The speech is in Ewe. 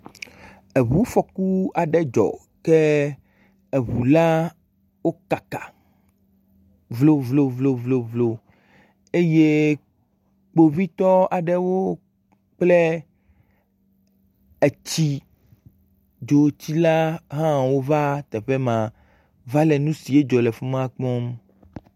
Eŋufɔku aɖe dzɔ ke eŋu la wo kaka vlovlovlo eye kpovitɔ aɖewo kple etsi dzotsilahãwo va teƒe ma va le nu si dzɔ le afi ma kpɔm.